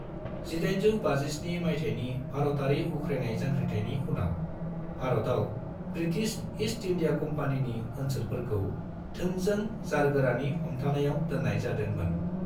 1857 मायथाइनि भारातारि उख्रायनाय जांख्रिथायनि उनाव, भारतआव ब्रिटिष ईस्ट इंडिया कम्पानीनि ओनसोलफोरखौ थोंजों जारगोरानि हमथानायाव दोननाय जादों मोन।